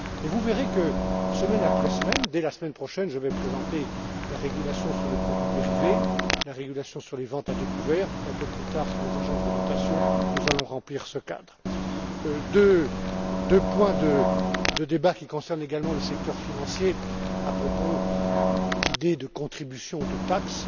Vous verrez que, semaine après semaine dès la semaine prochaine je vais présenter la régulation sur les produits dérivés, la régulation sur les ventes à découvert puis, un peu plus tard, sur les agences de notation nous allons remplir ce cadre. Deux points de débat qui concernent également le secteur financier, à propos d'idées de contribution, de taxe.